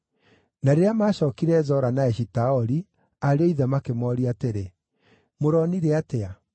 Na rĩrĩa maacookire Zora na Eshitaoli, ariũ a ithe makĩmooria atĩrĩ, “Mũronire atĩa?”